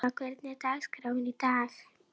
Rauður er orðinn gamall, sagði Hilmar.